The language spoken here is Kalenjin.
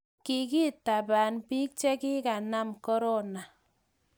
kikitabaan piik che kikanam korona